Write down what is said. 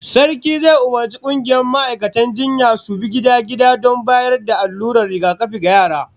Sarki zai umurci kungiyar ma'aikatan jinyan su bi gida-gida don bayar da allurar rigakafi ga yara